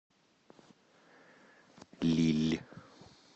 лилль